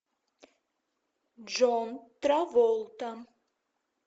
джон траволта